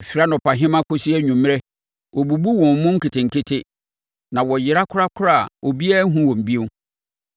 Ɛfiri anɔpahema kɔsi anwummerɛ wɔbubu wɔn mu nketenkete; na wɔyera korakora a obiara nhunu wɔn bio.